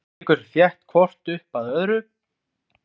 Eiríkur þétt hvort upp að öðru.